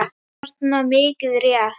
þarna, mikið rétt.